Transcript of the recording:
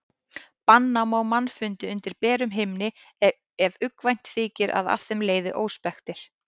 Banna má mannfundi undir berum himni ef uggvænt þykir að af þeim leiði óspektir.